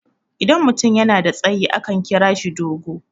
idan mutum yana da tsayi akan kira shi dogo